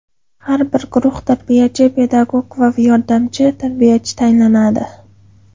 Har bir guruhga tarbiyachi pedagog va yordamchi tarbiyachi tayinlanadi.